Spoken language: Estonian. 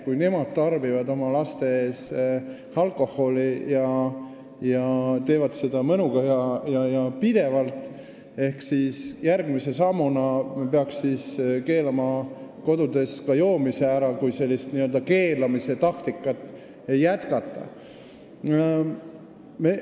Kui nemad tarbivad laste ees alkoholi ning teevad seda mõnuga ja pidevalt, siis järgmise sammuna, kui sellist keelamistaktikat jätkata, me peaksime ära keelama ka kodudes joomise.